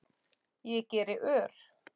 Ég geri ör